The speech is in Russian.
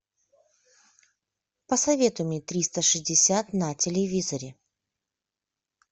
посоветуй мне триста шестьдесят на телевизоре